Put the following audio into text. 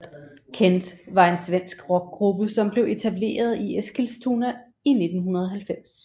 Kent var en svensk rockgruppe som blev etableret i Eskilstuna i 1990